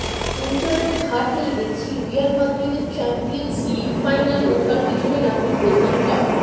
internet ঘাঁটলেই দেখছি Real মাদ্রিদের চ্যাম্পিয়ন্স লিগ ফাইনালে ওঠার পিছনে নাকি প্রধান কারণ